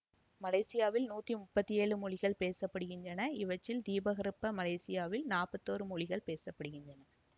மலேசியாவில் நூற்றி முப்பத்தி ஏழு மொழிகள் பேச படுகின்றன இவற்றில் தீபகற்ப மலேசியாவில் நாற்பத்தோறு மொழிகள் பேச படுகின்றன